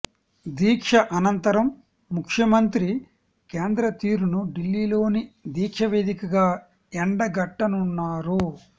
దీక్ష అనంతరం ముఖ్యమంత్రి కేంద్ర తీరును ఢిల్లీలోని దీక్ష వేదికగా ఎండగట్టనున్నారు